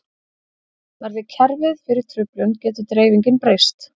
Verði kerfið fyrir truflun getur dreifingin breyst.